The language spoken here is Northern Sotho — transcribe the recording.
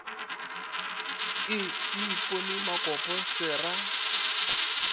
e ipone makopo se ra